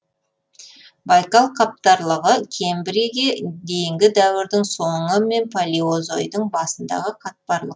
байкал қатпарлығы кембрийге дейінгі дәуірдің соңы мен палеозойдың басындағы қатпарлық